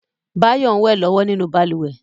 Báyọ̀ ń wẹ̀ lọ́wọ́ nínú balùwẹ̀